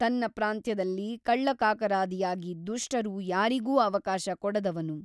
ತನ್ನ ಪ್ರಾಂತ್ಯದಲ್ಲಿ ಕಳ್ಳಕಾಕರಾದಿಯಾಗಿ ದುಷ್ಟರು ಯಾರಿಗೂ ಅವಕಾಶ ಕೊಡದವನು.